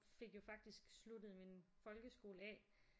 Fik jo faktisk sluttet min folkeskole af